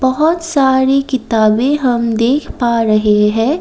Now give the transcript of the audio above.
बहोत सारी किताबें हम देख पा रहे हैं।